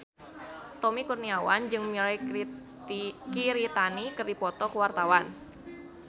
Tommy Kurniawan jeung Mirei Kiritani keur dipoto ku wartawan